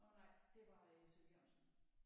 Nåh nej det var øh C V Jørgensen